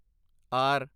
R